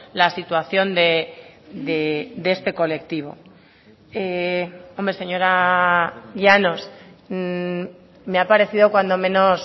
la situación de este colectivo hombre señora llanos me ha parecido cuando menos